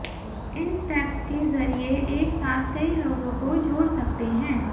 इन steps के जरिए एक साथ कई लोगों को जोड़ सकते हैं